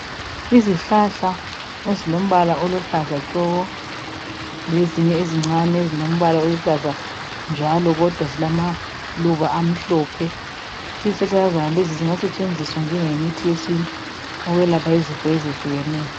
Izihlahla ezilombala oluhlaza tshoko lezinye ezincane ezilokuhlaza njalo kodwa zilama luba amhlophe izihlahla zonezo zingasetshenziswa njengomuthi wentu ziyelapha izifo ezehlukeneyo